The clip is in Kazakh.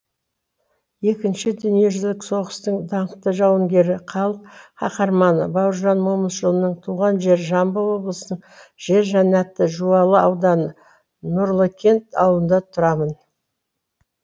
екінші дүниежүзілік соғыстың даңқты жауынгері халық қаһарманы бауыржан момышұлының туған жері жамбыл облысының жер жәннаты жуалы ауданы нұрлыкент ауылында тұрамын